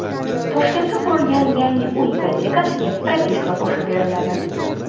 Toshkentda qurilgan yangi uy ipotekasiga propiska qo‘shib beriladi .